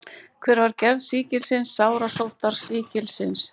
Hver er gerð sýkilsins sárasóttar sýkilsins?